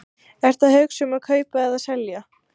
Ertu að hugsa um að kaupa eða selja?